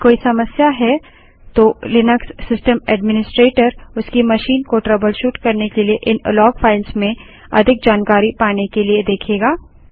यदि कोई समस्या है तो लिनक्स सिस्टम ऐड्मिनिस्ट्रेटर उसकी मशीन को ट्रबलशूट करने के लिए इन लॉग फाइल्स में अधिक जानकारी पाने के लिए देखेगा